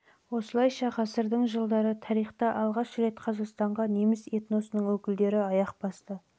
осылайша ғасырдың жылдары тарихта алғаш рет қазақстанға неміс этносының өкілдері аяқ басты